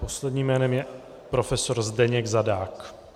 Posledním jménem je profesor Zdeněk Zadák.